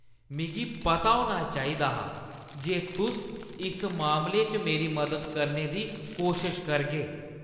मिगी पता होना चाहिदा हा जे तुस इस मामले च मेरी मदद करने दी कोशश करगे।